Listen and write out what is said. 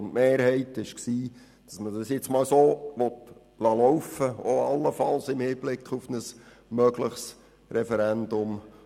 Die Mehrheit war der Meinung, dass wir es nun einmal so laufen lassen wollen, allenfalls auch im Hinblick auf ein mögliches Referendum.